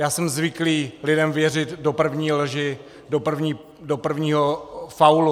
Já jsem zvyklý lidem věřit do první lži, do prvního faulu.